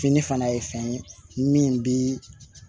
Fini fana ye fɛn ye min bi